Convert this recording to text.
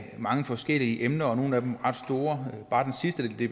mange forskellige emner og nogle af dem er ret store bare det sidste der blev